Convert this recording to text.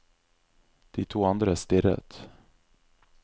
De to andre stirret.